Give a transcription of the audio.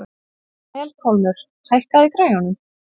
Melkólmur, hækkaðu í græjunum.